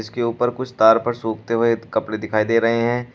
इसके ऊपर कुछ तार पर सुखते हुए कपड़े दिखाई दे रहे हैं।